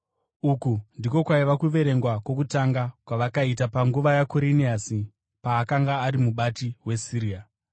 Uku ndiko kwaiva kuverengwa kwokutanga kwakaitwa panguva yaKuriniasi paakanga ari mubati weSiria.